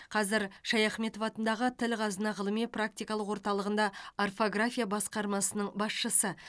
қазір шаяхметов атындағы тіл қазына ғылыми практикалық орталығында орфография басқармасының басшысы